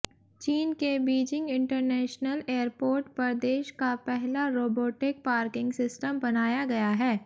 चीन के Beijing international airport पर देश का पहला रोबोटिक पार्किंग सिस्टम बनाया गया है